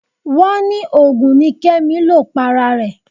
Wọ́n ní òògùn ni Kẹ́mi lò para rẹ̀